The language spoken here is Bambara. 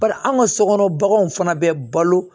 Barisa anw ka sokɔnɔ baganw fana bɛ balo